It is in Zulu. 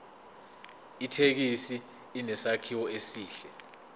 ithekisi inesakhiwo esihle